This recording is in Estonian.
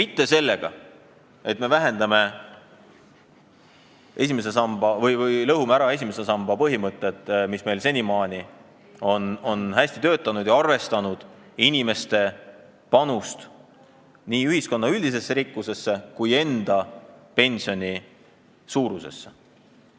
Ei pea tegelema sellega, et me lõhume ära esimese samba põhimõtted, mis senimaani on hästi töötanud ja arvestanud inimese panust nii ühiskonna üldisesse rikkusesse kui ka enda pensioni suurusesse.